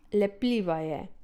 Lepljiva je.